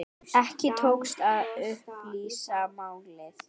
Ekki tókst að upplýsa málið.